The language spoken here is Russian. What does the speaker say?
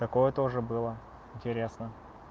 такое тоже было интересно